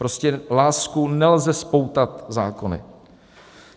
Prostě lásku nelze spoutat zákony.